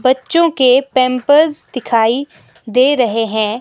बच्चों के पैंपर्स दिखाई दे रहे हैं।